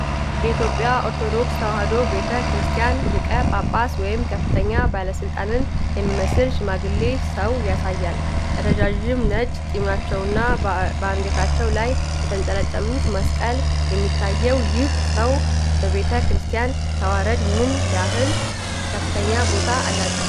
የኢትዮጵያ ኦርቶዶክስ ተዋሕዶ ቤተ ክርስቲያን ሊቀ ጳጳስ ወይም ከፍተኛ ባለሥልጣን የሚመስል ሽማግሌ ሰው ያሳያል። ረዥም ነጭ ጢማቸውና በአንገታቸው ላይ የተንጠለጠሉት መስቀል የሚታየው ይህ ሰው በቤተ ክርስቲያን ተዋረድ ምን ያህል ከፍተኛ ቦታ አላቸው?